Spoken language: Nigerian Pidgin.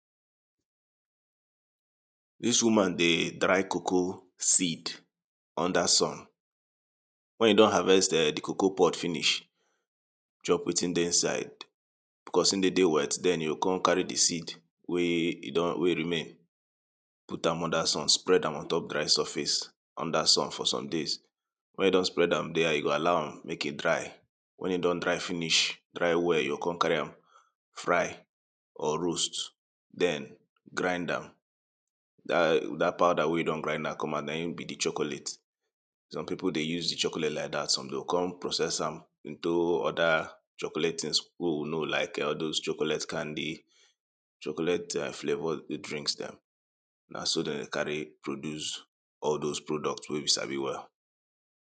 Dis woman dey dry coco seed under sun, wen e don harvest um di coco pod finish, chop wetin dey inside becos e dey dey wet den you go kon carry di seed wey e don, wey e remain. Put am under sun, spread am ontop dry surface under sun for some days, wen you don spread am there you go allow am make e dry wen e don dry finish, dry well you go kon carry am fry or roast den grind am, dat powder wey you don grind am come out na im be di chocolate. Some pipu dey use di chocolate like dat some dem go kon process am into oda chocolate tins wey we know like, all dose chocolate candy, chocolate flavour drinks dem na so dem dey carry produce all dose products wey we sabi well.